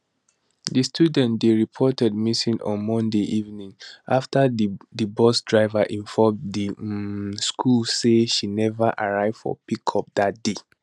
di student dey reported missing on monday evening afta di bus driver inform di um school say she never arrive for pick up dat day